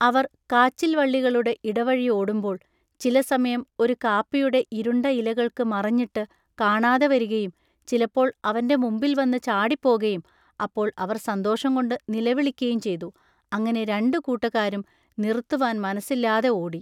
അവർ കാച്ചിൽവള്ളികളുടെ ഇടവഴി ഓടുമ്പോൾ ചിലസമയം ഒരു കാപ്പിയുടെ ഇരുണ്ട ഇലകൾക്കു മറഞ്ഞിട്ടു കാണാതെവരികയും ചിലപ്പോൾ അവന്റെ മുമ്പിൽവന്നു ചാടിപ്പോകയും അപ്പോൾ അവർ സന്തോഷംകൊണ്ടു നിലവിളക്കയും ചെയ്തു അങ്ങിനെ രണ്ടു കൂട്ടക്കാരും നിറുത്തുവാൻ മനസ്സില്ലാതെ ഓടി.